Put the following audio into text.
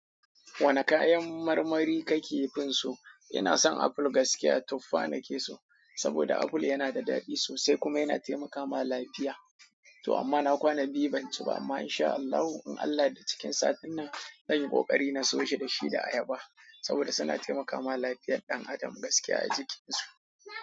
Wane kayan marmari kake finso? Ina son aful gaskiya tuffa nake so. Saboda aful yana da daɗi sosai kuma yana taimaka ma lafiya. To amma na kwana biyu banci ba amma in sha Allahu, in Allah da cikin satin nan nayi ƙoƙari na soyi da shi da ayaba. Saboda suna taimakawa lafiyar ɗan adam gaskiya a jikin su.